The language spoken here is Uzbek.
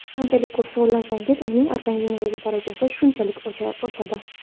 Qanchalik ko‘p shug‘ullansangiz, uning organizmdagi darajasi shunchalik oshadi.